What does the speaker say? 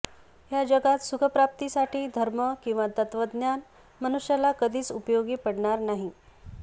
ह्या जगात सुखप्राप्तीसाठी धर्म किंवा तत्त्वज्ञान मनुष्याला कधीच उपयोगी पडणार नाही